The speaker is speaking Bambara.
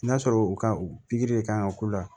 N'a sɔrɔ u ka pikiri de kan ka k'u la